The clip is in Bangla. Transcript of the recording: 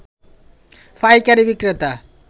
পাইকারী বিক্রেতা